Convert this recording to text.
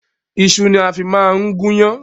Iṣu ni a fi máa ń gun ìyàn